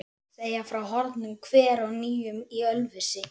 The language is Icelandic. segja frá horfnum hver og nýjum í Ölfusi.